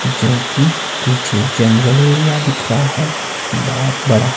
जो कि पीछे जंगल एरिया दिख रहा है बहोत बड़ा।